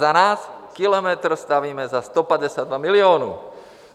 Za nás kilometr stavíme za 152 milionů.